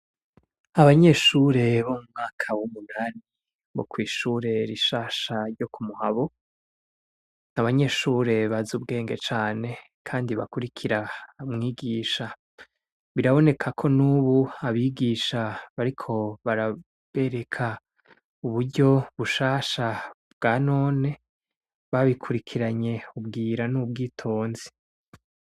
Abanyere bo mu mwaka w'umunani bo kw'ishure rishasha ryo ku Muhabo, ni abanyeshure bazi ubwenge cane bakurikira umwigisha. Biraboneka ko n'ubu abigisha bariko barabereka uburyo bushasha bwa none. Babikurikiranye ubwira n'ubwitonzi.